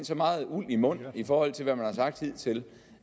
så meget uld i mund i forhold til hvad man havde sagt hidtil